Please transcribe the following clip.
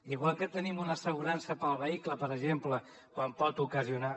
igual que tenim una assegurança per al vehicle per exemple quan pot ocasionar